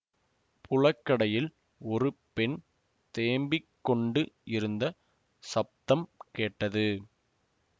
புழக்கடையில் ஒரு பெண் தேம்பிக்கொண்டு இருந்த சப்தம் கேட்டது